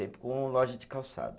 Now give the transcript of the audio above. com loja de calçado.